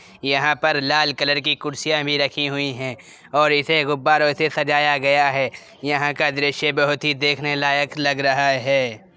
यहाँ पर लाल कलर की कुर्सियां भी रखी हुई हैं और इसे गुब्बारों से सजाया गया है। यहाँ का दृश्य बहोत ही देखने लायक लग रहा है।